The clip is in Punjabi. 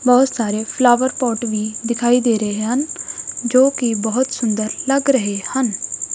ਬਹੁਤ ਸਾਰੇ ਫਲਾਵਰ ਪੋਟ ਵੀ ਦਿਖਾਈ ਦੇ ਰਹੇ ਹਨ ਜੋਕਿ ਬਹੁਤ ਸੁੰਦਰ ਲੱਗ ਰਹੇ ਹਨ।